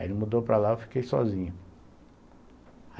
Aí ele mudou para lá e eu fiquei sozinho.